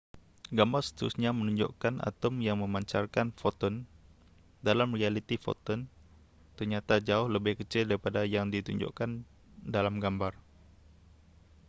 gambar seterusnya menunjukkan atom yang memancarkan foton dalam realiti foton ternyata jauh lebih kecil daripada yang ditunjukkan dalam gambar